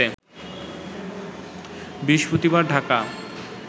বৃহস্পতিবার ঢাকা